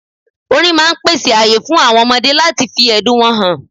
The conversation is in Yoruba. Orin máà ń pèsè ààyè fún àwọn ọmọdé láti fi ẹ̀dùn wọn hàn